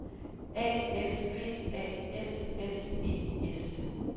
A F P A S S E S